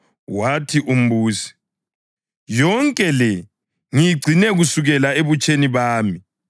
Wathi umbusi, “Yonke le ngiyigcine kusukela ebutsheni bami.”